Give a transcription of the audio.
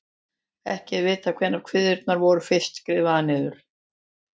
Ekki er vitað hvenær kviðurnar voru fyrst skrifaðar niður.